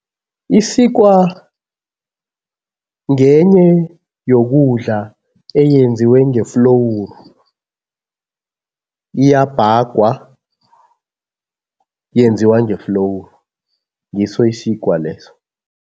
Isikwa ngenye yokudla eyenziwe ngeflowuru. Iyabhagwa, yenziwa ngeflowuru, ngiso isikwa leso.